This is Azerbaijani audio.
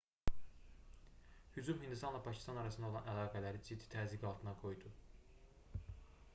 hücum hindistanla pakistan arasında olan əlaqələri ciddi təzyiq altında qoydu